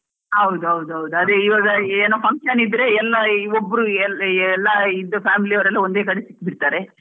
ಹೌದೌದ್ ಅದೇ ಈವಾಗ ಏನೋ function ಇದ್ರೆ, ಎಲ್ಲಾ ಒಬ್ರು ಎಲ್~ ಎಲ್ಲಾ ಇದ್ family ಅವ್ರೆಲ್ಲ ಒಂದೇ ಕಡೆ ಸಿಕ್ಬಿಡ್ತಾರೆ.